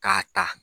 K'a ta